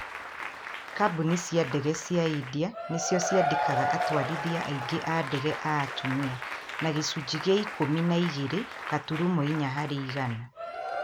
Kambũni cia ndege cia India nĩcio ciandĩkaga atwarithia aingĩ a ndege a atumia. Na gĩcunjĩ kĩa ikũmi na igere gaturumo inya harĩ igana.